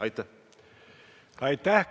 Aitäh!